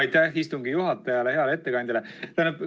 Aitäh istungi juhatajale ja heale ettekandjale!